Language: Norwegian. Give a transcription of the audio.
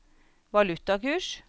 valutakurs